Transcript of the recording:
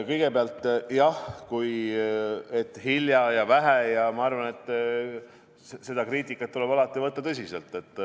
Kõigepealt jah, hilja ja vähe jne – ma arvan, et seda kriitikat tuleb alati võtta tõsiselt.